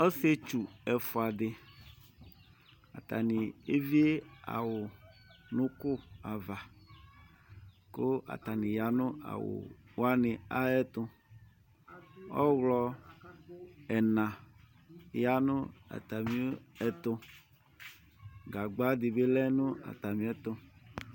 Ɔsietsu ɛfua di Atani evie awu nuku avaKʋ atani ya nʋ awu wani ayɛtuƆɣlɔ ɛna ya nʋ atami ɛtuGagba di bi lɛ nʋ atamiɛtu